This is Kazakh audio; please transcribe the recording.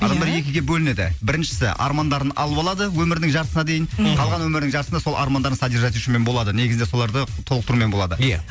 иә адамдар екіге бөлінеді біріншісі армандарын алып алады өмірінің жартысына дейін мхм қалған өмірінің жартысында сол армандарын болады негізі соларды толықтырумен болады иә